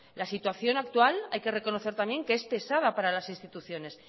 la situación actual hay que reconocer también que es pesada para las instituciones